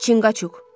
Çinqaçuq.